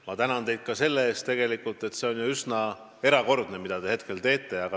Ma tänan teid ka selle eest, et te teete midagi üsna erakordset.